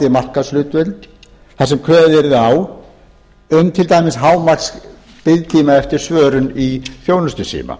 markaðshlutdeild þar sem kveðið yrði á um hámarksbiðtíma eftir svörun í þjónustusíma